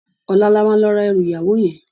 Òlá lá ma lò rá èrù iyáwó yèn